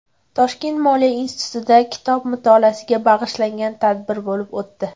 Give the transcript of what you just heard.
Toshkent moliya institutida kitob mutolaasiga bag‘ishlangan tadbir bo‘lib o‘tdi.